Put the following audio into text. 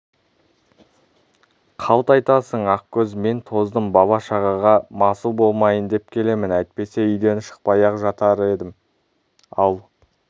қалт айтасың ақкөз мен тоздым бала-шағаға масыл болмайын деп келемін әйтпесе үйден шықпай-ақ жатар едім ал